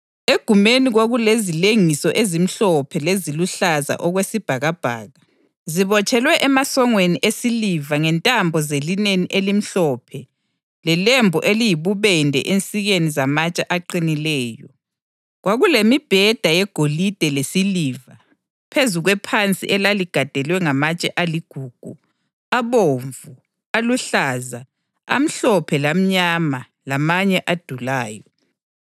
Egumeni kwakulezilengiso ezimhlophe leziluhlaza okwesibhakabhaka, zibotshelwe emasongweni esiliva ngentambo zelineni elimhlophe lelembu eliyibubende ensikeni zamatshe aqinileyo. Kwakulemibheda yegolide lesiliva phezu kwephansi elaligandelwe ngamatshe aligugu, abomvu, aluhlaza, amhlophe lamnyama lamanye adulayo.